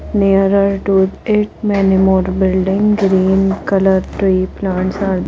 nearer to it many more building green colour tree plants are --